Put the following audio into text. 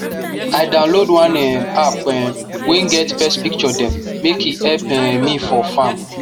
i download one um app um wey get pest picture dem make e help um me for farm